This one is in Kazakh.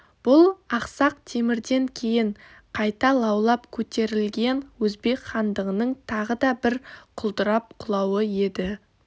бұл ақсақ темірден кейін қайта лаулап көтерілген өзбек хандығының тағы да бір құлдырап құлауы еді